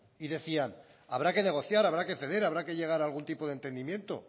y decían habrá que negociar habrá que ceder habrá que llegar a algún tipo de entendimiento